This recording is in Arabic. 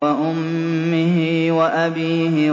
وَأُمِّهِ وَأَبِيهِ